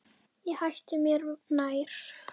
Ég hætti mér nær.